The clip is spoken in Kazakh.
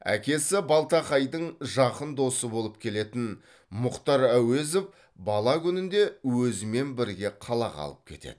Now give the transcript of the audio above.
әкесі балтақайдың жақын досы болып келетін мұхтар әуезов бала күнінде өзімен бірге қалаға алып кетеді